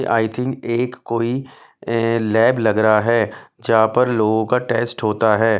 आई think एक कोई lab लग रहा है जहां पर लोगों का टेस्ट होता है।